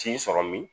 T'i sɔrɔ min